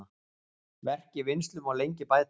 Verk í vinnslu má lengi bæta.